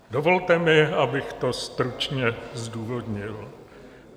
Dovolte mi, abych to stručně zdůvodnil.